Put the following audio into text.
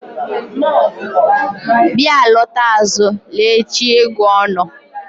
bya alọta azụ l'echi-ẹgu ono